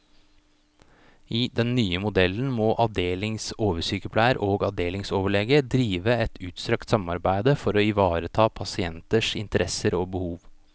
I den nye modellen må avdelingsoversykepleier og avdelingsoverlege drive et utstrakt samarbeide for å ivareta pasienters interesser og behov.